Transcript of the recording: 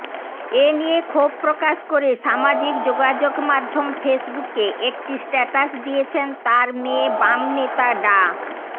এ নিয়ে ক্ষোভ প্রকাশ করে সামাজিক যোগাযোগমাধ্যম ফেসবুকে একটি স্ট্যাটাস দিয়েছেন তাঁর মেয়ে বামনেতা ডা